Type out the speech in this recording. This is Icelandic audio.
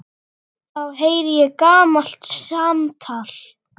Þá heyri ég gamalt samtal.